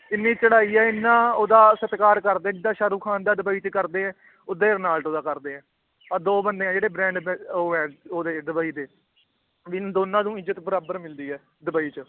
ਇੰਨੀ ਚੜ੍ਹਾਈ ਹੈ ਇੰਨਾ ਉਹਦਾ ਸਤਿਕਾਰ ਕਰਦੇ, ਜਿੱਦਾਂ ਸਾਹਰੁਖਾਨ ਦਾ ਦੁਬਈ 'ਚ ਕਰਦੇ ਹੈ ਓਦਾਂ ਹੀ ਰੋਨਾਲਡੋ ਦਾ ਕਰਦੇ ਹੈ ਆਹ ਦੋ ਬੰਦੇ ਹੈ ਜਿਹੜੇ brand ਅੰਬੈ~ ਉਹ ਹੈ ਉਹਦੇ ਡੁਬਈ ਦੇ ਵੀ ਇੰਨ ਦੋਨਾਂ ਨੂੰ ਇੱਜਤ ਬਰਾਬਰ ਮਿਲਦੀ ਹੈ ਡੁਬਈ 'ਚ